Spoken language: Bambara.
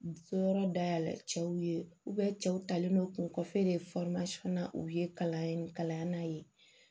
Yɔrɔ dayɛlɛn cɛw ye cɛw talen don k'u kɔfɛ de na u ye kalan ye kalan na yen